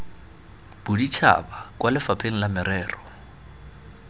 boditšhaba kwa lefapheng la merero